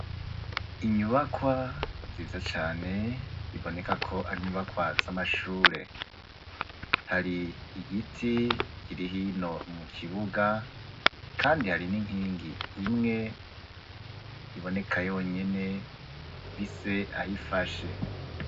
Inyubakwa nziza cane biboneka ko ari inyubakwa z'amashure hari igiti kirihino mu kibuga, kandi hari n'inkingi imwe iboneka yonyene ifise aho ifashe.